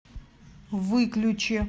выключи